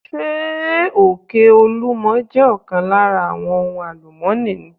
Ṣé òkè olúmo jẹ́ ọ̀kan lára àwọn ohun àlùmọ́ni?